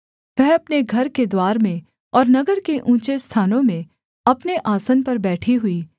वह अपने घर के द्वार में और नगर के ऊँचे स्थानों में अपने आसन पर बैठी हुई